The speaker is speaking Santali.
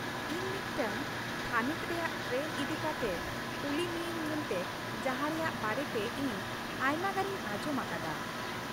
ᱤᱧ ᱢᱤᱫᱴᱟᱝ ᱛᱷᱟᱹᱱᱤᱛ ᱨᱮᱭᱟᱜ ᱴᱨᱮᱱ ᱤᱫᱤᱠᱟᱛᱮᱜ ᱠᱩᱞᱤ ᱢᱤᱭᱟᱹᱧ ᱢᱮᱱᱛᱮ ᱡᱟᱦᱟᱸ ᱨᱮᱭᱟᱜ ᱵᱟᱨᱮᱛᱮ ᱤᱧ ᱟᱭᱢᱟᱜᱟᱱᱤᱧ ᱟᱸᱡᱚᱢ ᱟᱠᱟᱫᱟ ᱾